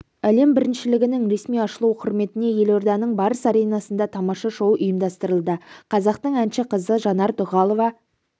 әлем біріншілігінің ресми ашылу құрметіне елорданың барыс аренасында тамаша шоу ұйымдастырылды қазақтың әнші қызы жанар дұғалова